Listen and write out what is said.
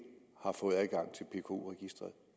har fået adgang til pku registreret